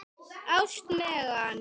Ást, Megan.